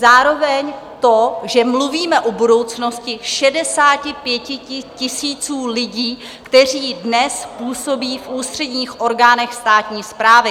Zároveň to, že mluvíme o budoucnosti 65 000 lidí, kteří dnes působí v ústředních orgánech státní správy.